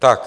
Tak.